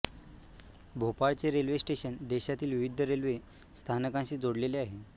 भोपाळचे railway station देशातील विविध railway स्थानकांशी जोडलेले आहे